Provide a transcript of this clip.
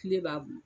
Kile b'a bolo